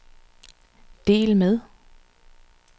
del med